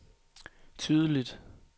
tydeligt